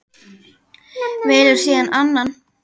Velur síðan annan.